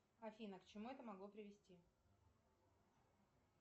афина к чему это могло привести